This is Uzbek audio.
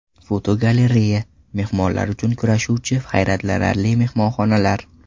Fotogalereya: Mehmonlar uchun kurashuvchi hayratlanarli mehmonxonalar.